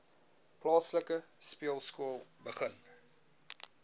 plaaslike speelskool begin